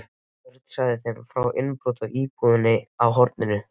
Örn sagði þeim frá innbrotinu í búðina á horninu.